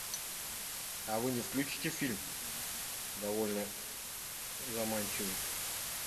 а вы не включите фильм довольно заманчивый